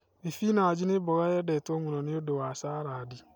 Thibinanji nĩ mboga yendetwo mũno nĩ ũndũ wa saradi.